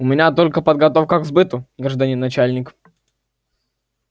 у меня только подготовка к сбыту гражданин начальник